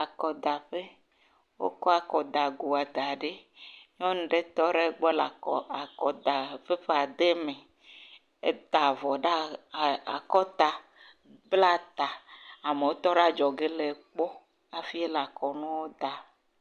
Akɔdaƒe. Wokɔ akɔdagoa da ɖe. Nyɔnu aɖe tɔ ɖe egbɔ le akɔ, akɔdapepa de eme. Eta avɔ ɖe aa akɔta, blaa ta. Amewo tɔ ɖe adzɔge lee kpɔ. Hafi wole akɔnuwo da.